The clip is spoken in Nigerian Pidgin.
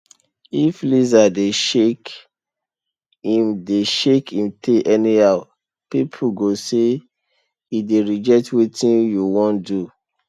if lizard dey shake im dey shake im tail anyhow people go say e dey reject wetin you wan do